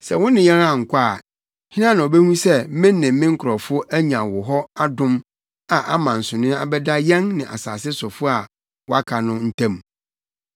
Sɛ wo ne yɛn ankɔ a, hena na obehu sɛ me ne me nkurɔfo anya wo hɔ adom a ama nsonoe abɛda yɛn ne asase sofo a wɔaka no ntam?”